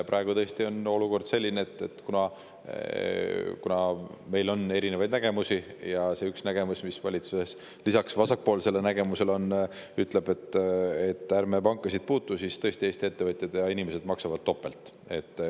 Praegu on olukord tõesti selline – kuna meil on erinevaid nägemusi ja see üks nägemus, mis valitsuses lisaks vasakpoolsele nägemusele on, ütleb, et ärme pankasid puutume –, et Eesti ettevõtjad ja inimesed maksavad topelt.